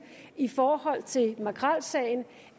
i forhold til makrelsagen